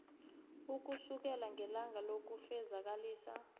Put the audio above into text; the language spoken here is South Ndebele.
ukusukela ngelanga lokufezakalisa